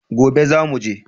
Gobe zamu je